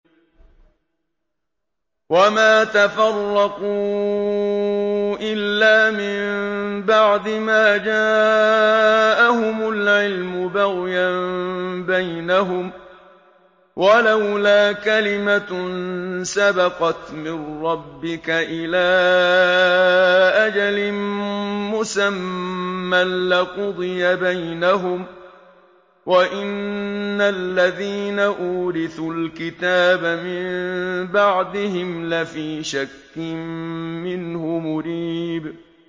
وَمَا تَفَرَّقُوا إِلَّا مِن بَعْدِ مَا جَاءَهُمُ الْعِلْمُ بَغْيًا بَيْنَهُمْ ۚ وَلَوْلَا كَلِمَةٌ سَبَقَتْ مِن رَّبِّكَ إِلَىٰ أَجَلٍ مُّسَمًّى لَّقُضِيَ بَيْنَهُمْ ۚ وَإِنَّ الَّذِينَ أُورِثُوا الْكِتَابَ مِن بَعْدِهِمْ لَفِي شَكٍّ مِّنْهُ مُرِيبٍ